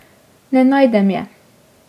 Ne najdem je.